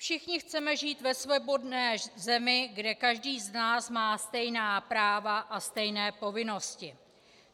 Všichni chceme žít ve svobodné zemi, kde každý z nás má stejná práva a stejné povinnosti.